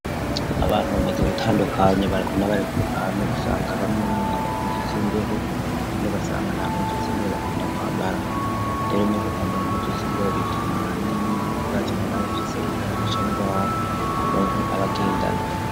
Abantu bameze gutandukanya bareko na barbanu usanga bamwe bambara impusu z'imbeho andik asanga nta mpusu z'imbeho bakunda kwambara rero umuriko kwambara imputu z'imbeho bitwa mwani y'ibibazi umunabi afise ingorana cangwar muntu abagendana.